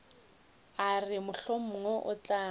a re mohlomongwe o tla